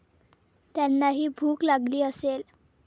त्यांनाही भूक लागली असेल.